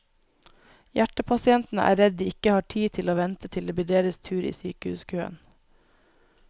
Hjertepasientene er redd de ikke har tid til å vente til det blir deres tur i sykehuskøen.